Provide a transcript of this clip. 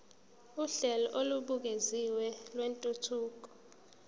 uhlelo olubukeziwe lwentuthuko